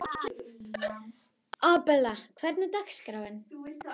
Abela, hvernig er dagskráin?